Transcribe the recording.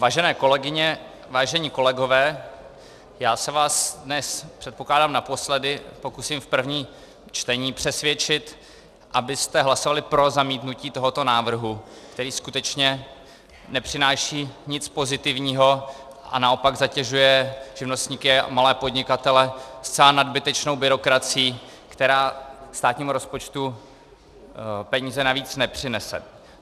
Vážené kolegyně, vážení kolegové, já se vás dnes, předpokládám, naposledy pokusím v prvním čtení přesvědčit, abyste hlasovali pro zamítnutí tohoto návrhu, který skutečně nepřináší nic pozitivního a naopak zatěžuje živnostníky a malé podnikatele zcela nadbytečnou byrokracií, která státnímu rozpočtu peníze navíc nepřinese.